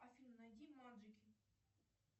афина найди маджики